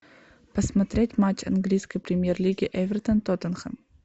посмотреть матч английской премьер лиги эвертон тоттенхэм